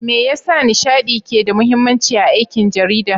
Me yasa nishaɗi ke da mahimmanci a aikin jarida?